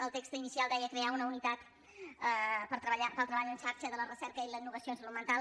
el text inicial deia crear una unitat per al treball en xarxa de la recerca i la innovació en salut mental